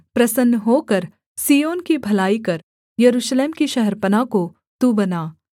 प्रसन्न होकर सिय्योन की भलाई कर यरूशलेम की शहरपनाह को तू बना